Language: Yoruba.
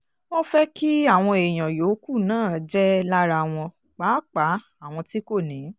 wọ́n fẹ́ kí àwọn èèyàn yòókù náà jẹ́ lára wọn pàápàá àwọn tí kò ní